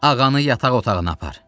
Ağanı yataq otağına apar!